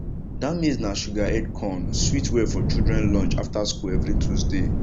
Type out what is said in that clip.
that maize na sugar head corn sweet well for children lunch after school every tuesday